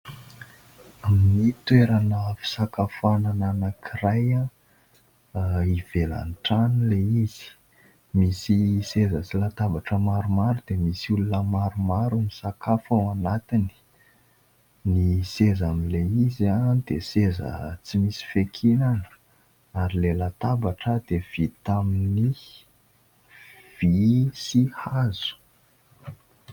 Amin'ny toerana fisakafoanana anankiray ivelan-trano ilay izy. Misy seza sy latabatra maromaro dia misy olona maromaro misakafo ao anatiny ; ny seza amin'ilay izy dia seza tsy misy fiainkinana ary ary ilay latabatra dia vita amin'ny vy sy hazo.